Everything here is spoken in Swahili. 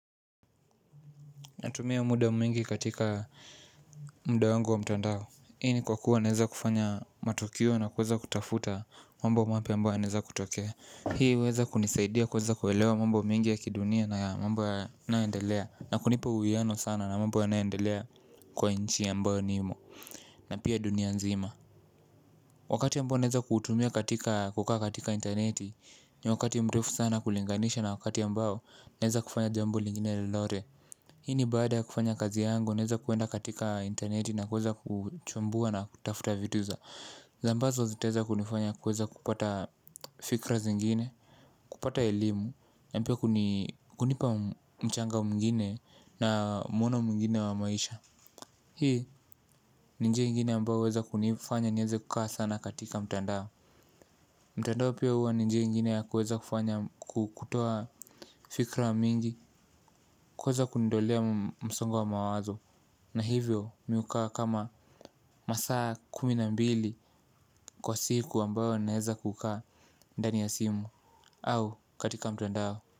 Natumia muda mwingi katika muda wangu wa mtandao hii ni kwa kuwa naweza kufanya matukio na kuweza kutafuta mambo mapya yanayoweza kutokea, hii huweza kunisaidia kuweza kuelewa mambo mengi ya kidunia na mambo yanayoendelea na kunipa uwiano sana na mambo yanayoendelea kwa nchi ambayo ni na pia dunia nzima. Wakati ambao naeza kuutumia katika kukaa katika intaneti. Ni wakati mrefu sana kulinganisha na wakati ambao naeza kufanya jambo lingine lolote hii ni baada ya kufanya kazi yangu naeza kuenda katika intaneti na kuweza kuchambua na kutafuta vitu za za mbazo zitaweza kunifanya kuweza kupata fikra zingine, kupata elimu, na pia kuni kunipa mchanga mwingine na mwono mwingine wa maisha. Hii, ni njia ingine ambao huweza kunifanya, nieze kukaa sana katika mtandao. Mtandao pia hua ni njia ingine ya kuweza kufanya kukutoa fikra mingi, kuweza kuondolea msongo wa mawazo. Na hivyo mi hukaa kama masaa kumi na mbili kwa siku ambayo naeza kukaa ndani ya simu au katika mtandao.